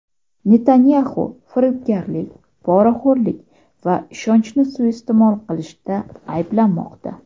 Netanyaxu firibgarlik, poraxo‘rlik va ishonchni suiiste’mol qilishda ayblanmoqda.